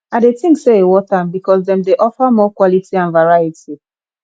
i dey think say e worth am because dem dey offer more quality and variety